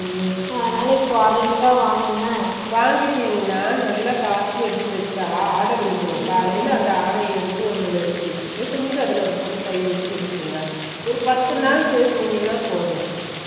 வாங்கிடின்கனா நல்ல கச்சி எடுத்து வெச்ச ஆட விழுந்துரும் காலைல அந்த ஆடை எடுத்து ஒண்ணுல எடுத்து வெச்சுட்டு கொஞ்சோ அதுல ஒரு சொட்டு தயிர் உத்தி வெச்சுருங்க ஒரு பத்து நாள் செத்துநீங்கனா போதும் திரும்பவும் அதுல தயிர் உத்திடே